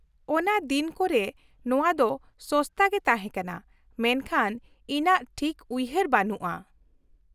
-ᱚᱱᱟ ᱫᱤᱱ ᱠᱚᱨᱮ ᱱᱚᱣᱟ ᱫᱚ ᱥᱚᱥᱛᱟ ᱜᱮ ᱛᱟᱦᱮᱸ ᱠᱟᱱᱟ, ᱢᱮᱱᱠᱷᱟᱱ ᱤᱧᱟᱹᱜ ᱴᱷᱤᱠ ᱩᱭᱦᱟᱹᱨ ᱵᱟᱹᱱᱩᱜᱼᱟ ᱾